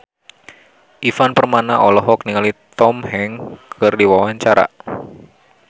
Ivan Permana olohok ningali Tom Hanks keur diwawancara